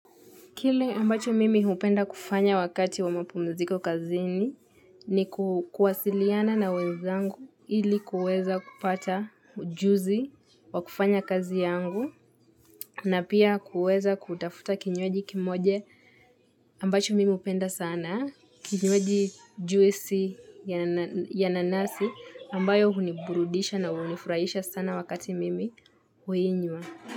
Kile ambacho mimi hupenda kufanya wakati wa mapumuziko kazini ni kuwasiliana na wezangu ili kuweza kupata ujuzi wa kufanya kazi yangu na pia kuweza kutafuta kinywaji kimoja ambacho mimi hupenda sana, kinywaji juisi ya nanasi ambayo huniburudisha na hunifurahisha sana wakati mimi huinywa.